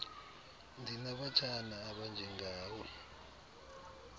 ndinabatshana abanje ngawe